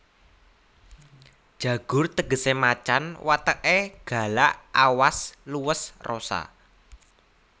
Jagur tegesé macan wateké galak awas luwes rosa